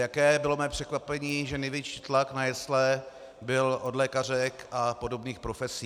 Jaké bylo mé překvapení, že největší tlak na jesle byl od lékařek a podobných profesí.